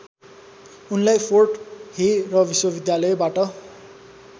उनलाई Fort Hare र विश्वविद्यालयबाट